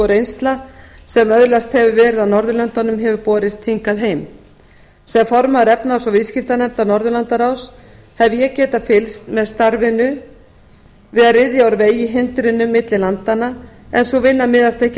reynsla sem öðlast hefur verið á norðurlöndunum hefur borist hingað heim sem formaður efnahags og viðskiptanefndar norðurlandaráð hef ég getað fylgst með starfinu verið í að ryðja úr vegi hindrunum milli landanna en sú vinna miðast ekki